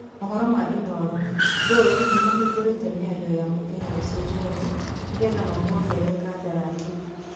(Maũhoro ma Inooro) Gor nĩ mahingũrite mĩario ya mũkenya ũcio Njoroge, nĩgetha mamuongerere kandarathi